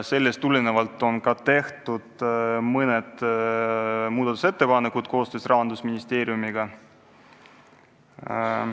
Sellest tulenevalt on ka tehtud mõned muudatusettepanekud koostöös Rahandusministeeriumiga.